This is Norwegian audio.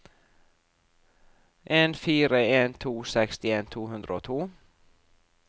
en fire en to sekstien to hundre og to